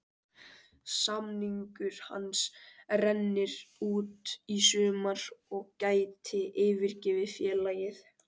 Samningur hans rennur út í sumar og gæti yfirgefið félagið.